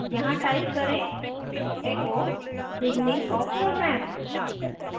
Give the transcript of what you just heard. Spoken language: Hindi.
यहाँ type करें echo beginning of program